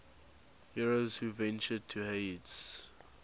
heroes who ventured to hades